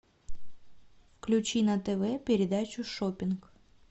включи на тв передачу шоппинг